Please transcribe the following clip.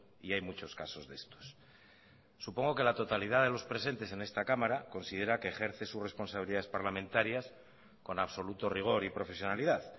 y hay muchos casos de estos supongo que la totalidad de los presentes en esta cámara considera que ejerce sus responsabilidades parlamentarias con absoluto rigor y profesionalidad